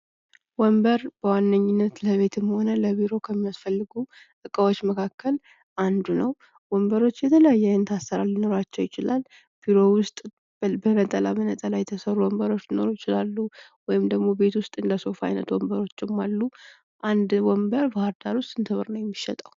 ወንበር በዋነኝነት ለቤትም ሆነ ለቢሮ ከሚያስፈልጉ እቃዎች ዉስጥ አንዱ ነው። ወንበሮች የተለያየ አይነት አሰራር ሊኖራቸው ይችላል። ቢሮ ዉስጥ በነጠላ በነጠላ የተሰሩ ወንበሮች ሊኖሩ ይችላሉ ወይም ደግሞ ቤት ዉስጥ እንደ ሶፋ አይነት ወንበሮችም አሉ። አንድ ወንበር ባህርዳር ዉስጥ ስንት ብር ነው የሚሸጠው?